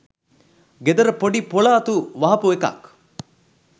ගෙදර පොඩි පොලඅතු වහපු එකක්.